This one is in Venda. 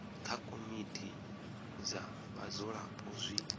kha komiti dza vhadzulapo zwi